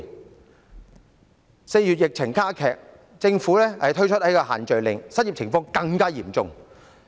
在4月，疫情加劇，政府推出限聚令，失業情況更嚴重。